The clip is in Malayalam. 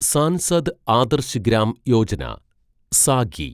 സാൻസദ് ആദർശ് ഗ്രാം യോജന (സാഗി)